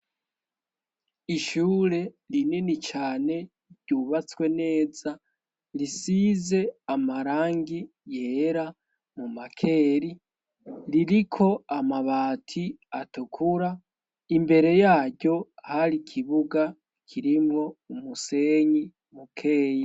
Ishure rinini cane ryubatswe neza risize amarangi yera mu makeri ririko amabati atukura imbere yaryo hari ikibuga kirimwo umusenyi mukeyi.